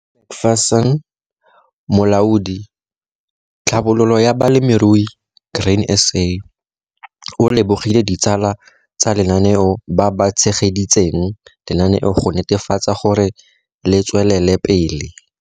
McPherson, Molaodi - Tlhabololo ya Balemirui, Grain SA, o lebogile ditsala tsa lenaneo ba ba tshegeditseng lenaneo go netefatsa gore le tswelele pele.